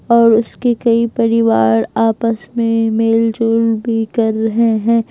और उसके कई परिवार आपस में मेलजोल भी कर रहे हैं।